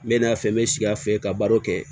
N bɛ na fɛ n bɛ sigi a fɛ ka baro kɛ